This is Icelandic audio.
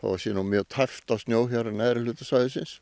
það sé nú mjög tæpt á snjó hér á neðri hluta svæðisins